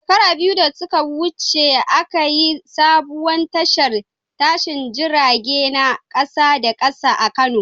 Shekaru biyu da suka wuce, aka yi sabuwar tashar tashin jirage na kasa da kasa a Kano.